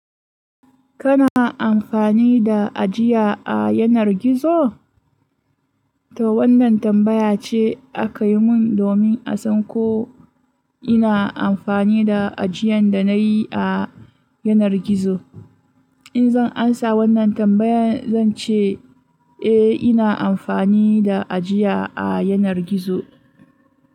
Kana amfani da ajiya a yanar gizo? To wannan tambaya ce aka yi mun domin a san ko ina amfani da ajiyan da na yi a yanar gizo. In zan amsa wannan tambayan zan ce eh ina amfani da ajiya a yanar gizo.